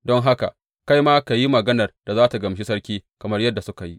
Don haka kai ma ka yi maganar da za tă gamshi sarki kamar yadda suka yi.